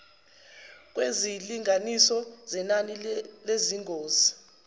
kwezilinganiso zenani lezingozi